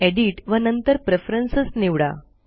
edit व नंतरPreferences निवडा